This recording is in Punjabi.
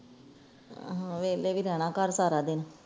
ਆਹੋ ਵਿਹਲੇ ਹੀ ਰਹਿਣਾਂ ਘਰ ਸਾਰਾ ਦਿਨ